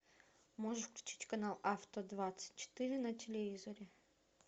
можешь включить канал авто двадцать четыре на телевизоре